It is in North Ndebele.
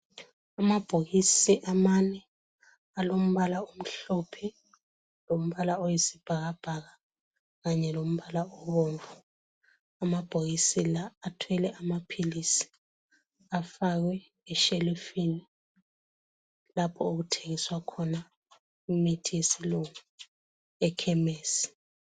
Amabhokisi amane alombala omhlophe, lombala oyisibhakabhaka kanye lombala obomvu. Amabhokisi la athwele amaphilisi afakwe eshelufini lapho okuthengiswa khona imithi yesilungu ekhemesi.